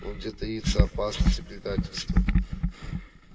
вот где таится опасность и предательство